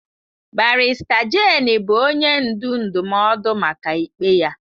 Barrister Jane bụ onye ndu ndụmọdụ maka ikpe ya.